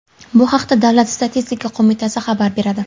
Bu haqda Davlat statistika qo‘mitasi xabar beradi .